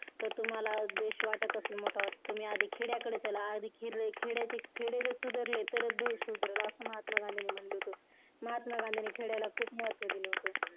तर तुम्हाला देश वाटत असेल मोठा तुम्ही आधी खेड्याकडे चला आधी खेडे खेडे सुधारल. तरच देश सुधारल. असं महात्मा गांधी ने म्हटलं होतं. महात्मा गांधींनी खेडयाला खूप महत्त्व दिलं होतं.